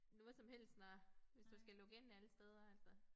Noget som helst når hvis du skal logge ind alle steder altså